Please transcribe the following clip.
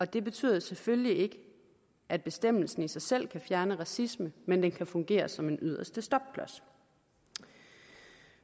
det betyder selvfølgelig ikke at bestemmelsen i sig selv kan fjerne racisme men at den kan fungere som en yderste stopklods